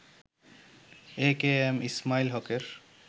এ K M Ismail হকের